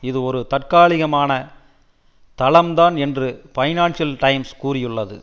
இது ஒரு தற்காலிகமான தளம் தான் என்று பைனான்சியல் டைம்ஸ் கூறியுள்ளது